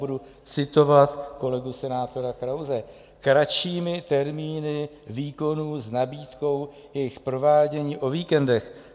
Budu citovat kolegu senátora Krause: Kratšími termíny výkonů s nabídkou jejich provádění o víkendech.